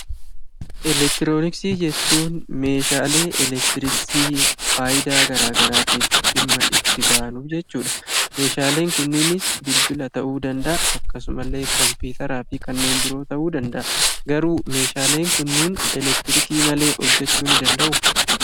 Eleektirooniksii jechuun meeshaalee eleektirooniksii faayidaa gara garaaf dhimma itti baanu jechuudha. Meeshaaleen kunis bilbila ta'uu danda’a akkasumallee kompiitaraa fi kanneen biroo ta'uu danda’a. Garuu meeshaaleen kunniin elektirikii malee hojjechuu ni danda'u?